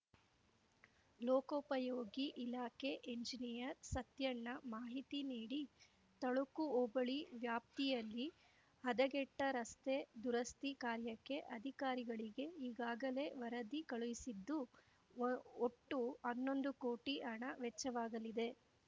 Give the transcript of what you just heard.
ಲೋಕೋಪಯೋಗಿ ಇಲಾಖೆ ಎಂಜಿನಿಯರ್‌ ಸತ್ಯಣ್ಣ ಮಾಹಿತಿ ನೀಡಿ ತಳಕು ಹೋಬಳಿ ವ್ಯಾಪ್ತಿಯಲ್ಲಿ ಹದಗೆಟ್ಟರಸ್ತೆ ದುರಸ್ತಿ ಕಾರ್ಯಕ್ಕೆ ಅಧಿಕಾರಿಗಳಿಗೆ ಈಗಾಗಲೇ ವರದಿ ಕಳುಹಿಸಿದ್ದು ಓ ಒಟ್ಟು ಹನ್ನೊಂದು ಕೋಟಿ ಹಣ ವೆಚ್ಚವಾಗಲಿದೆ